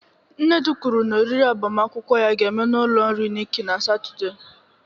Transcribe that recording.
Nnedi kwuru na oriri agbamakwụkwọ ya ga-eme n'ụlọ nri Nikki na Satọde.